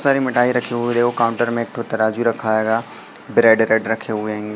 सारे मिठाई रखे हुए है देखो काउंटर में एक ठो तराजू रखा है गा ब्रेड रेड रखे हुए हैं।